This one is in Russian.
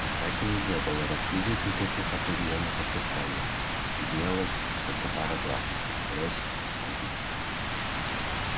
во мраке нельзя было разглядеть никаких определённых очертаний виднелась только пара глаз горящих как угли